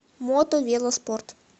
мото вело спорт